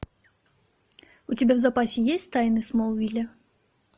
у тебя в запасе есть тайны смолвиля